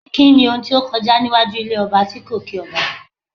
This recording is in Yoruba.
Kíni ohun tó kọjá níwájú ilé ọba tí kò kí ọba?